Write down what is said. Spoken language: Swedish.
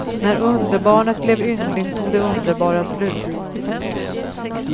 När underbarnet blev yngling tog det underbara slut.